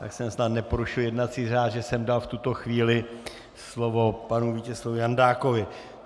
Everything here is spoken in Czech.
Tak jsem snad neporušil jednací řád, že jsem dal v tuto chvíli slovo panu Vítězslavu Jandákovi.